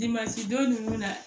don nunnu na